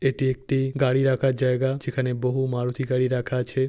এটি একটি গাড়ি রাখার জায়গা। যেখানে বহু মারুতি গাড়ি রাখা আছে।